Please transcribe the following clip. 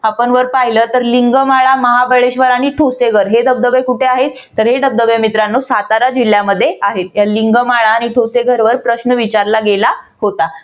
आपण वर पाहिलं तर लिंगमाळा महाबळेश्वर आणि ठोसेघर हे धबधबे कुठे आहेत? तर हे धबधबे मित्रांनो साताऱ्या जिल्ह्यामध्ये आहेत. या लिंगमाळा आणि ठोसेघर वर प्रश्न विचारला गेला होता.